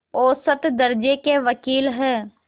औसत दर्ज़े के वक़ील हैं